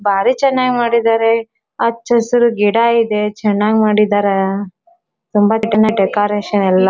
ಭಾರಿ ಚನಾಗಿ ಮಾಡಿದಾರೆ ಹಚ್ಚ್ ಹಸಿರು ಗಿಡ ಇದೆ ಚನಾಗಿ ಮಾಡಿದಾರೆ ಡೆಕೋರೇಷನ್ ಎಲ್ಲಾ